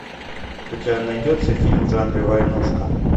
у тебя найдется фильм в жанре войнушка